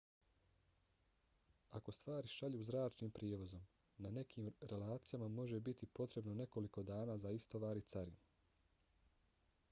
ako stvari šalju zračnim prijevozom na nekim relacijama može biti potrebno nekoliko dana za istovar i carinu